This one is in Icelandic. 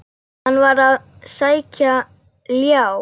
Hann var að sækja ljá.